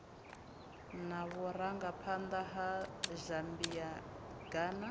na vhurangaphanḓa ha zambia ghana